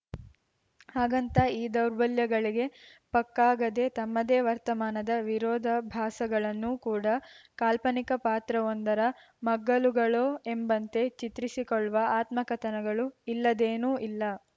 ಹಾಗಂತ ಈ ದೌರ್ಬಲ್ಯಗಳಿಗೆ ಪಕ್ಕಾಗದೆ ತಮ್ಮದೇ ವರ್ತಮಾನದ ವಿರೋಧಾಭಾಸಗಳನ್ನೂ ಕೂಡ ಕಾಲ್ಪನಿಕ ಪಾತ್ರವೊಂದರ ಮಗ್ಗುಲುಗಳೋ ಎಂಬಂತೆ ಚಿತ್ರಿಸಿಕೊಳ್ಳುವ ಆತ್ಮಕಥನಗಳು ಇಲ್ಲದೇನೂ ಇಲ್ಲ